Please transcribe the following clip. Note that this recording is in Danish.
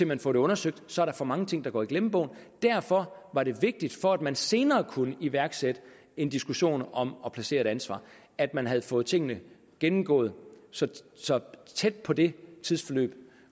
man får det undersøgt så er der for mange ting der går i glemmebogen derfor var det vigtigt for at man senere kunne iværksætte en diskussion om at placere et ansvar at man havde fået tingene gennemgået så så tæt på det tidsforløb